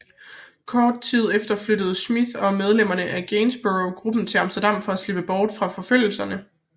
Kort tid efter flyttede Smiyth og medlemmerne af Gainsborough gruppen til Amsterdam for at slippe bort fra forfølgelserne